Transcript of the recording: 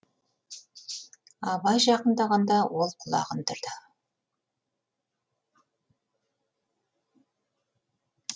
абай жақындағанда ол құлағын түрді